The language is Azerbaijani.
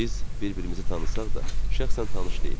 Biz bir-birimizi tanısaq da, şəxsən tanış deyilik.